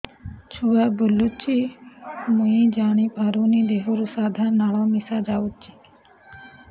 ଛୁଆ ବୁଲୁଚି ମୁଇ ଜାଣିପାରୁନି ଦେହରୁ ସାଧା ଲାଳ ମିଶା ଯାଉଚି